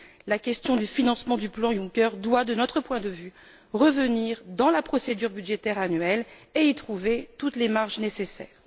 La question du financement du plan Juncker doit, de notre point de vue, revenir dans la procédure budgétaire annuelle et y trouver toutes les marges nécessaires.